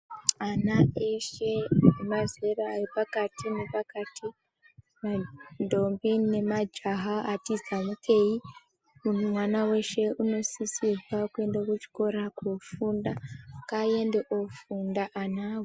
Ana eshe emazera epakati ne pakati ma ndombi ne majaha ati zamukei mwana weshe uno sisirwa kuende ku chikora ko funda nga ende ofunda anawo.